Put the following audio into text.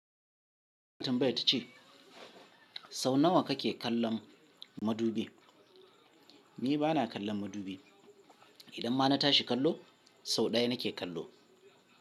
Tambaya ta ce sau nawa kake kallon madubi. Ni ba na kallon madubi. Idan ma na tashi kallo sau ɗaya nake kallo.